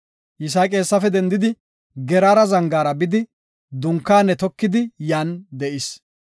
Yisaaqi hessafe dendidi, Geraara zangaara bidi dunkaane tokidi yan de7is.